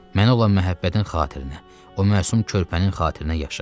Mənə olan məhəbbətin xatirinə, o məsum körpənin xatirinə yaşa.